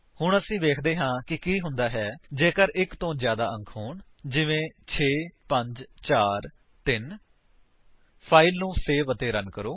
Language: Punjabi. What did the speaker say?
ਹੁਣ ਵੇਖਦੇ ਹਾਂ ਕਿ ਕੀ ਹੁੰਦਾ ਹੈ ਜੇਕਰ ਉੱਥੇ ਇੱਕ ਤੋਂ ਜਿਆਦਾ ਅੰਕ ਹੋਣ ਜਿਵੇਂ 6543 ਫਾਇਲ ਨੂੰ ਸੇਵ ਅਤੇ ਰਨ ਕਰੋ